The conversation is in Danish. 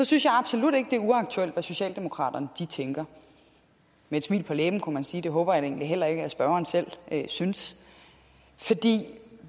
synes jeg absolut ikke det er uaktuelt hvad socialdemokraterne tænker med et smil på læben kunne man sige det håber jeg egentlig heller ikke spørgeren selv synes